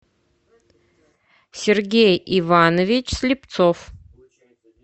сергей иванович слепцов